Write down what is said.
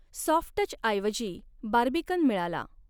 सॉफ्टटचऐवजी Barbican मिळाला.